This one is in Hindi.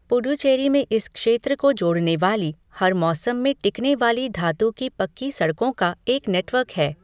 पुडुचेरी में इस क्षेत्र को जोड़ने वाली हर मौसम में टिकने वाली धातु की पक्की सड़कों का एक नेटवर्क है।